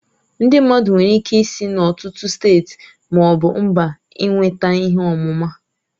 Ndị mmadụ nwere ike isi n'ọtụtụ steeti ma ọ bụ mba ịnweta ihe ọmụma.